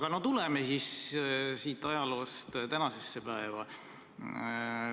Aga tuleme siis ajaloost tänasesse päeva.